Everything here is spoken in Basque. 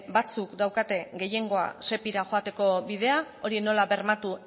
batzuk daukate gehiengoa sepira joateko bidea hori nola bermatu